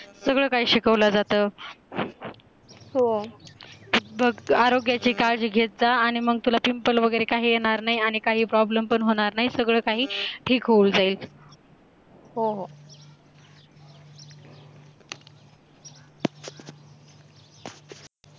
सगळं काय शिकवलं जातं, हो बग आरोग्याचे काळजी घेता आणि मग तुला पिंपल वगैरे काही येणार नाही आणि काही problem पण होणार नाही सगळं काही ठीक होऊन जाईल